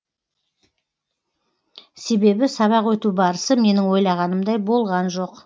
себебі сабақ өту барысы менің ойлағанымдай болған жоқ